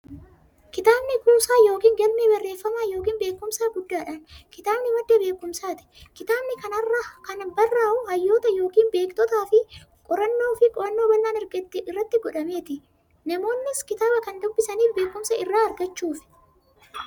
Kitaabni kuusaa yookiin galmee barreeffamaa yookiin beekumsaa guddaadhan. Kitaabni madda beekumsaati. Kitaabni kan barraa'u hayyoota yookiin beektotaanifi qorannoo fi qo'annoo bal'aan erga irratti godhameeti. Namoonnis kitaaba kan dubbisaniif beekumsa irraa argachuuf.